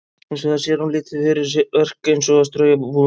Hins vegar sé hún lítið fyrir verk eins og að strauja og búa um.